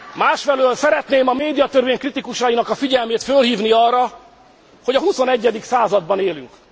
Másfelől szeretném a médiatörvény kritikusainak a figyelmét fölhívni arra, hogy a huszonegyedik században élünk.